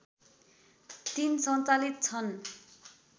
३ सञ्चालित छन्